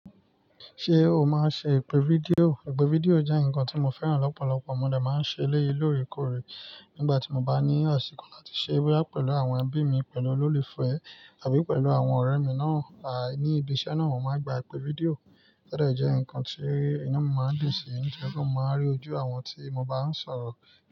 Ṣé o máa ń ṣe ìpè fídíò? Ìpè fídíò jẹ́ nǹkan tí mo fẹ́ràn lọ́pọ̀lọpọ̀. Ọ̀n mo dá máa ń ṣe léye lóòrèkóòrè. Nígbà tí mo bá ní àsìkò láti ṣé boyà pẹ̀lú àwọn ẹbí mi pẹ̀lú olólùfẹ́ tàbí pẹ̀lú àwọn ọ̀rẹ́ mi náà, àí ní ibi iṣẹ́ náà, mo máa ń gba ìpè fídíò. Tio de jẹ́ ǹkan tí inú mo máa ń dùn sí to ripe mo máa ń rí ojú àwọn tí mo bá ń sọ̀rọ̀.